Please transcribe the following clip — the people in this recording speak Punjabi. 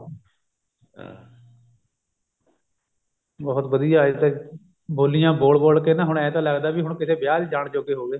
ਬਹੁਤ ਵਧੀਆ ਇਹ ਤੇ ਬੋਲੀਆਂ ਬੋਲ ਬੋਲ ਕੇ ਨਾ ਹੁਣ ਏਂ ਤਾਂ ਲੱਗਦਾ ਵੀ ਹੁਣ ਕਿਤੇ ਵਿਆਹ ਚ ਜਾਨ ਜੋਗੇ ਹੋਗੇ